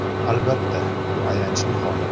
Albatta, bu ayanchli hol.